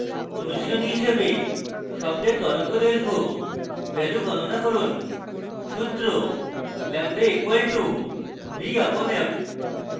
অনুশীলনী হিসেবে শব্দের তরঙ্গদৈর্ঘ্য value গণনা করুন সূত্র: λ = v/f lambda = v upon f